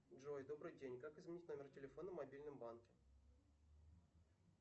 джой добрый день как изменить номер телефона в мобильном банке